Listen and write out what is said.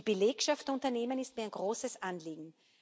Die Belegschaft der Unternehmen ist mir ein großes Anliegen.